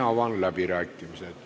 Avan läbirääkimised.